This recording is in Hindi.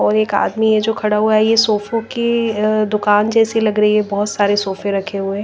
और एक आदमी है जो खड़ा हुआ है ये सोफों की दुकान जैसी लग रही है बहुत सारे सोफे रखे हुए--